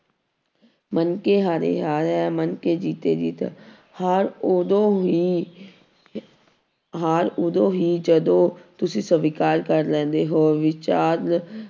ਮਨ ਕੇ ਹਾਰੇ ਹਾਰ ਹੈ ਮਨ ਕੇ ਜੀਤੇ ਜੀਤ ਹਾਰ ਉਦੋਂ ਹੀ ਹਾਰ ਉਦੋਂ ਹੀ ਜਦੋਂ ਤੁਸੀਂ ਸਵੀਕਾਰ ਕਰ ਲੈਂਦੇ ਹੋ, ਵਿਚਾਰ